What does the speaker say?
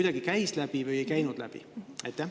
Kas see käis läbi või ei käinud läbi?